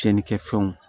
Tiɲɛnikɛ fɛnw